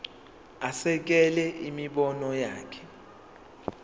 asekele imibono yakhe